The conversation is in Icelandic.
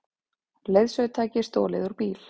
Leiðsögutæki stolið úr bíl